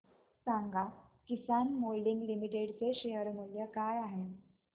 सांगा Kisan moulding limited चे share मूल्य काय आहे